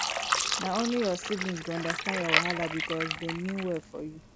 na only your siblings go understand your wahala because dem mean well for you